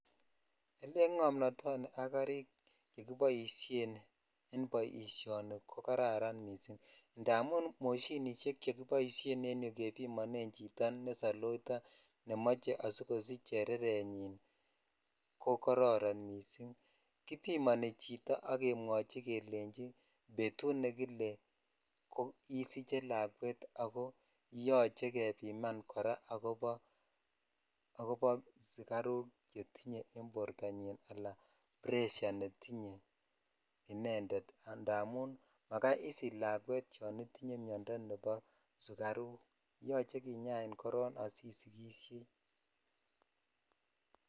Elen ng'omnotoni ak karik chekiboishen en boishoni ko jararan missing indamun moshinishek chekiboishen en yuu kebimonen chito ne sailors nemoche asikosich chererenyib ko koroton missing kibimoni chito ak kemwochi kelei betut nekile isiche lakwet ako yoche kebimanin kora akobosugaruk chetinye en bortanyin ala pressure ne tinye inended idamun majai isich lakwet yon itinye miondoo nepo sugaruk yoche kingpin koro asisikishei .